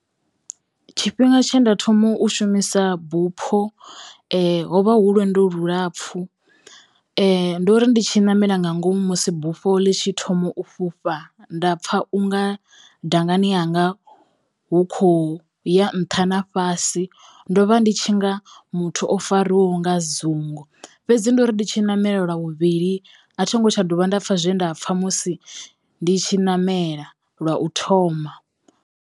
Tshifhinga tshe nda thoma u shumisa bupho ho vha hu lwendo lulapfu ndo ri ndi tshi ṋamela nga ngomu musi bufho ḽi tshi thoma u fhufha nda pfha u nga dangani hanga hu kho ya nṱha na fhasi ndo vha ndi tshi nga muthu o fariwaho nga dzungu fhedzi ndo ndi tshi ṋamela lwa vhuvhili a thingo tsha dovha nda pfha zwe nda pfha musi ndi tshi ṋamela lwa u thoma.